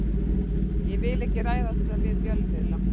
Ég vil ekki ræða þetta við fjölmiðla.